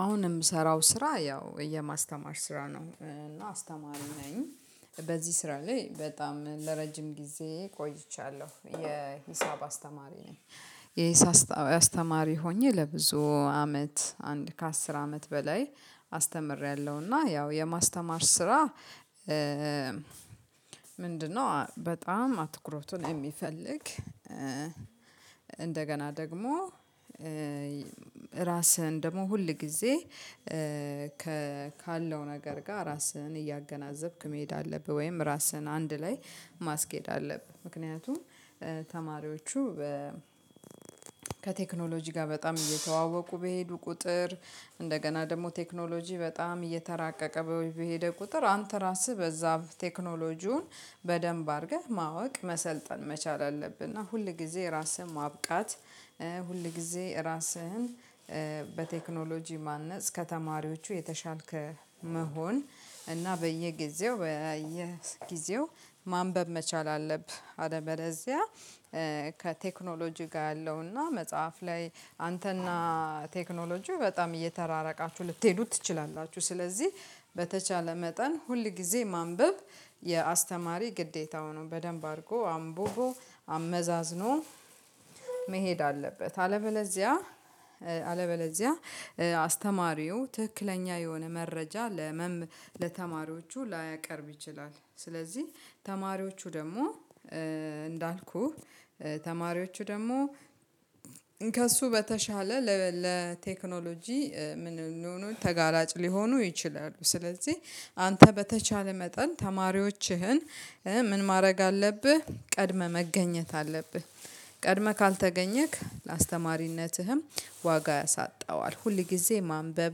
አሁን የምሰራው ስራ ያው የማስተማር ስራ ነው እና አስተማሪ ነኝ በዚህ ስራ ላይ በጣም ለረጅም ጊዜ ቆይቻለሁ የሂሳብ አስተማሪ ነኝ። የሂሳብ አስተማሪ ሆኜ ለብዙ አመት አንድ ከአስር አመት በላይ አስተምሬያለሁና ያው የማስተማር ስራ። ምንድነው? በጣም አትኩሮቱን የሚፈልግ እንደገና ደግሞ ራስህን ደግሞ ሁል ጊዜ ከካለው ነገር ጋር ራስህን እያገናዘብክ መሄድ አለብህ ወይም ራስህን አንድ ላይ ማስኬድ አለብህ። ምክንያቱም ተማሪዎቹ ከቴክኖሎጂ ጋር በጣም እየተዋወቁ በሄዱ ቁጥር እንደገና ደግሞ ቴክኖሎጂ በጣም እየተራቀቀ በሄደ ቁጥር አንተ ራስህ በዛ ቴክኖሎጂውን በደንብ አድርገህ ማወቅ መሰልጠን መቻል አለብህ። እና ሁል ጊዜ ራስህን ማብቃት ሁል ጊዜ ራስህን በቴክኖሎጂ ማነጽ ከተማሪዎቹ የተሻልክ መሆን እና በየጊዜው በየጊዜው ማንበብ መቻል አለብህ። አለበለዚያ ከቴክኖሎጂ ጋር ያለውና መጽሐፍ ላይ አንተና ቴክኖሎጂው በጣም እየተራራቃችሁ ልትሄዱ ትችላላችሁ። ስለዚህ በተቻለ መጠን ሁል ጊዜ ማንበብ የአስተማሪ ግዴታው ነው። በደንብ አድርጎ አምብቦ አመዛዝኖ መሄድ አለበት። አለበለዚያ አለበለዚያ አስተማሪው ትክክለኛ የሆነ መረጃ ለመም ለተማሪዎቹ ላያቀርብ ይችላል። ስለዚህ ተማሪዎቹ ደግሞ እንዳልኩህ ተማሪዎቹ ደግሞ ከእሱ በተሻለ ለቴክኖሎጂ ምን ሊሆኑ ተጋላጭ ሊሆኑ ይችላሉ። ስለዚህ አንተ በተቻለ መጠን ተማሪዎችህን ምን ማድረግ አለብህ ቀድመህ መገኘት አለብህ። ቀድመህ ካልተገኘክ ለአስተማሪነትህም ዋጋ ያሳጣዋል። ሁል ጊዜ ማንበብ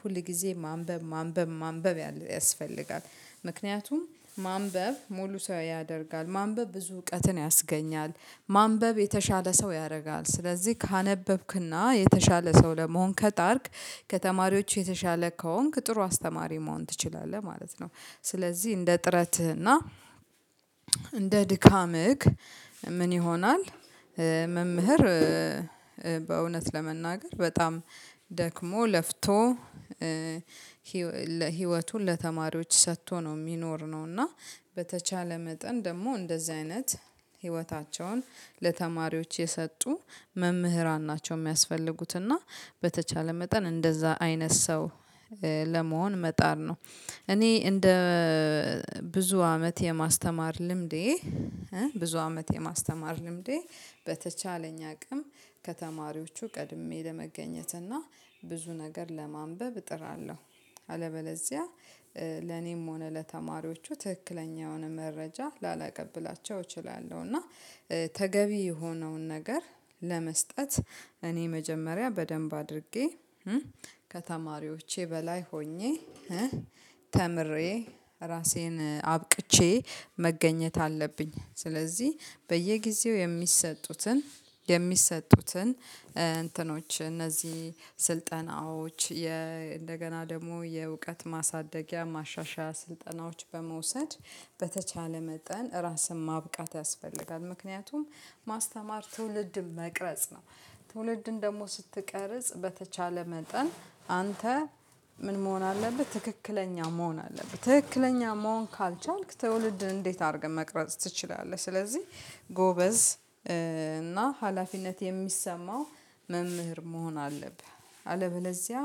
ሁል ሁልጊዜ ማንበብ ማንበብ ማንበብ ያስፈልጋል። ምክንያቱም ማንበብ ሙሉ ሰው ያደርጋል። ማንበብ ብዙ እውቀትን ያስገኛል። ማንበብ የተሻለ ሰው ያደርጋል። ስለዚህ ካነበብክና የተሻለ ሰው ለመሆን ከጣርክ ከተማሪዎች የተሻለ ከሆንክ ጥሩ አስተማሪ መሆን ትችላለህ ማለት ነው። ስለዚህ እንደ ጥረትህና እንደ ድካምህ ምን ይሆናል? መምህር በእውነት ለመናገር በጣም ደክሞ ለፍቶ ህይወቱን ለተማሪዎች ሰጥቶ ነው የሚኖር ነው። እና በተቻለ መጠን ደግሞ እንደዚህ አይነት ህይወታቸውን ለተማሪዎች የሰጡ መምህራን ናቸው የሚያስፈልጉት። እና በተቻለ መጠን እንደዛ አይነት ሰው ለመሆን መጣር ነው። እኔ እንደ ብዙ አመት የማስተማር ልምዴ ብዙ አመት የማስተማር ልምዴ በተቻለኝ አቅም ከተማሪዎቹ ቀድሜ ለመገኘት እና ብዙ ነገር ለማንበብ እጥራለሁ። አለበለዚያ ለኔም ሆነ ለተማሪዎቹ ትክክለኛ የሆነ መረጃ ላላቀብላቸው እችላለሁ። እና ተገቢ የሆነውን ነገር ለመስጠት እኔ መጀመሪያ በደንብ አድርጌ ከተማሪዎቼ በላይ ሆኜ ተምሬ ራሴን አብቅቼ መገኘት አለብኝ። ስለዚህ በየጊዜው የሚሰጡትን የሚሰጡትን እንትኖች እነዚህ ስልጠናዎች እንደገና ደግሞ የእውቀት ማሳደጊያ ማሻሻያ ስልጠናዎች በመውሰድ በተቻለ መጠን ራስን ማብቃት ያስፈልጋል። ምክንያቱም ማስተማር ትውልድን መቅረጽ ነው። ትውልድን ደግሞ ስትቀርጽ በተቻለ መጠን አንተ ምን መሆን አለብህ ትክክለኛ መሆን አለብህ ትክክለኛ መሆን ካልቻልክ ትውልድን እንዴት አድርገህ መቅረጽ ትችላለህ? ስለዚህ ጎበዝ እና ሀላፊነት የሚሰማው መምህር መሆን አለብህ። አለበለዚያ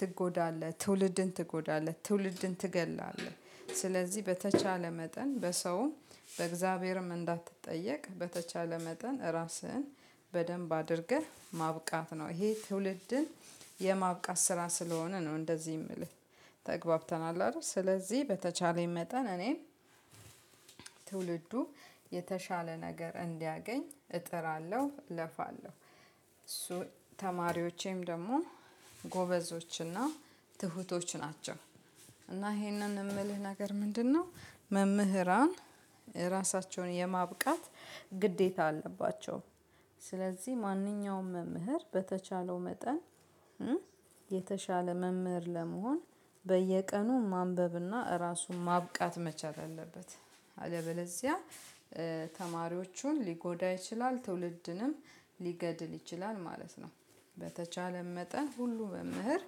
ትጎዳለህ ትውልድን ትጎዳለህ ትውልድን ትገድላለህ። ስለዚህ በተቻለ መጠን በሰውም በእግዚአብሔርም እንዳትጠየቅ በተቻለ መጠን ራስህን በደንብ አድርገህ ማብቃት ነው። ይሄ ትውልድን የማብቃት ስራ ስለሆነ ነው። እንደዚህ የምልህ ተግባብተናል አይደል? ስለዚህ በተቻለኝ መጠን እኔን ትውልዱ የተሻለ ነገር እንዲያገኝ እጥራለሁ እለፋለሁ። እሱ ተማሪዎቼም ደግሞ ጎበዞችና ትሁቶች ናቸው። እና ይሄንን የምልህ ነገር ምንድነው? መምህራን ራሳቸውን የማብቃት ግዴታ አለባቸው። ስለዚህ ማንኛውም መምህር በተቻለው መጠን የተሻለ መምህር ለመሆን በየቀኑ ማንበብና ራሱን ማብቃት መቻል አለበት። አለበለዚያ ተማሪዎቹን ሊጎዳ ይችላል ትውልድንም ሊገድል ይችላል ማለት ነው። በተቻለም መጠን ሁሉ መምህር